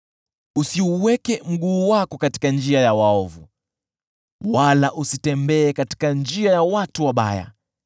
Usiuweke mguu wako katika njia ya waovu wala usitembee katika njia ya watu wabaya.